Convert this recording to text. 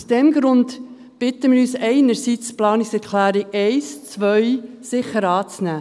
Aus diesem Grund bitten wir, einerseits sicher die Planungserklärungen 1 und 2 anzunehmen.